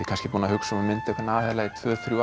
kannski búinn að hugsa um að mynda einhvern aðila í tvö